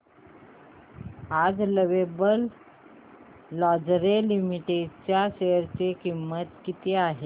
आज lovable lingerie limited च्या share ची किंमत किती आहे